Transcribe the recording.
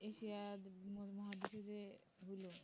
Asia মহাদেশে যে গুলো